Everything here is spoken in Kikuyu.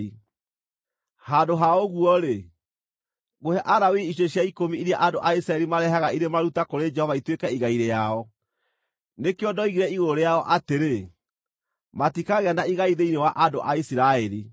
Handũ ha ũguo-rĩ, ngũhe Alawii icunjĩ cia ikũmi iria andũ a Isiraeli marehaga irĩ maruta kũrĩ Jehova ituĩke igai rĩao. Nĩkĩo ndoigire igũrũ rĩao atĩrĩ: ‘Matikagĩa na igai thĩinĩ wa andũ a Isiraeli.’ ”